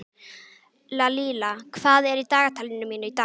Lalíla, hvað er í dagatalinu mínu í dag?